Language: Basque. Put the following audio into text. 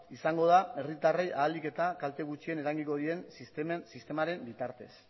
izango da herritarrei ahalik eta kalte gutxien eragingo dien sistemaren bitartez